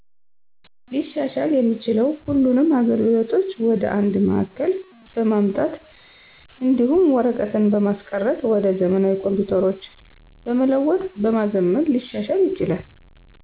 ሊሻሻል እሚችለው ሁሉንም አገልግሎቶች ወደ አንድ ማዕከል በማምጣት እዲሁም ወርቀትን በማስቀረት ወደ ዘመናዊ ኮምፒተሮች በመለወጥ በማዘመን ሊሻሻል ይችላል።